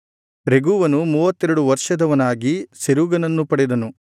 ರೆಗೂವನು ಮೂವತ್ತೆರಡು ವರ್ಷದವನಾಗಿ ಸೆರೂಗನನ್ನು ಪಡೆದನು